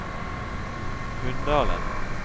Hunndalen